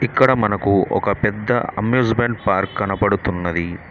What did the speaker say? ఇక్కడ మనకు ఒక పెద్ద అమ్యూజ్మెంట్ పార్క్ కనబడుతున్నది.